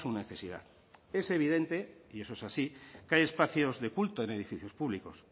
necesidad es evidente y eso es así que hay espacios de culto en edificios públicos